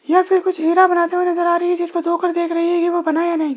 यह फिर कुछ हीरा बनाते हुए नजर आ रही है जिसको धो कर देख रही है कि वो बना या नहीं।